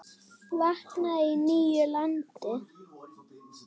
Vaknaði í nýju landi.